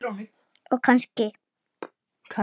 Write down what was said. Og kann sig.